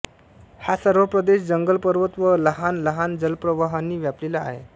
हा सर्व प्रदेश जंगल पर्वत व लहान लहान जलप्रवाहांनी व्यापलेला आहे